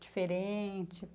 diferente.